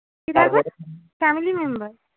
family member